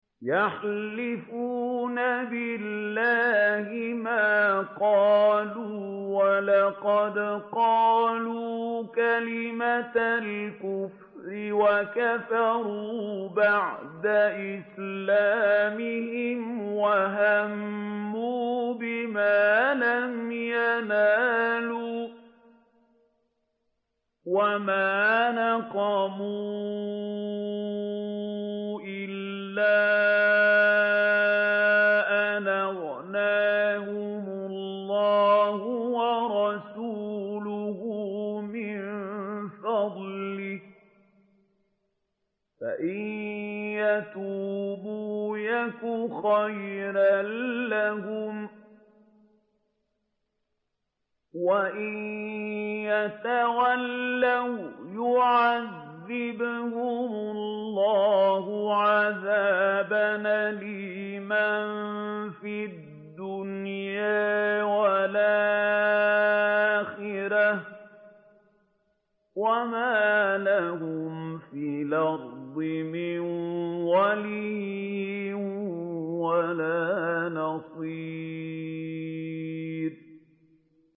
يَحْلِفُونَ بِاللَّهِ مَا قَالُوا وَلَقَدْ قَالُوا كَلِمَةَ الْكُفْرِ وَكَفَرُوا بَعْدَ إِسْلَامِهِمْ وَهَمُّوا بِمَا لَمْ يَنَالُوا ۚ وَمَا نَقَمُوا إِلَّا أَنْ أَغْنَاهُمُ اللَّهُ وَرَسُولُهُ مِن فَضْلِهِ ۚ فَإِن يَتُوبُوا يَكُ خَيْرًا لَّهُمْ ۖ وَإِن يَتَوَلَّوْا يُعَذِّبْهُمُ اللَّهُ عَذَابًا أَلِيمًا فِي الدُّنْيَا وَالْآخِرَةِ ۚ وَمَا لَهُمْ فِي الْأَرْضِ مِن وَلِيٍّ وَلَا نَصِيرٍ